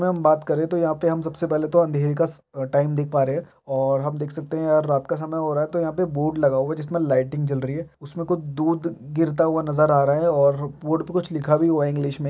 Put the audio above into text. हम बात करे तो यहाँ पर हम सबसे पहले तो अंधेरे का अ टाइम देख पा रहै है और हम देख सकते है यहाँ रात का समय हो रहा है तो यहाँ पर बोर्ड लगा हुआ है जिसमे लाइटिंग जल रही है उसमे कुछ दूध गिरता हुआ नजर आ रहा है और बोर्ड में कुछ लिखा भी हुआ है इंलिश में।